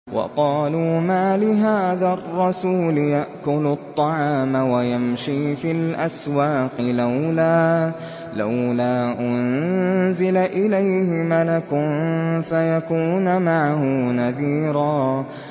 وَقَالُوا مَالِ هَٰذَا الرَّسُولِ يَأْكُلُ الطَّعَامَ وَيَمْشِي فِي الْأَسْوَاقِ ۙ لَوْلَا أُنزِلَ إِلَيْهِ مَلَكٌ فَيَكُونَ مَعَهُ نَذِيرًا